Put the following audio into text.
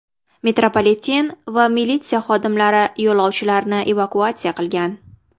Metropoliten va militsiya xodimlari yo‘lovchilarni evakuatsiya qilgan.